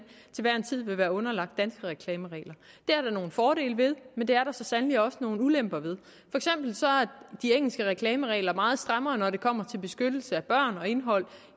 til hver en tid vil være underlagt danske reklameregler det er der nogle fordele ved men det er der så sandelig også nogle ulemper ved de engelske reklameregler meget strammere når det kommer til beskyttelse af børn og indhold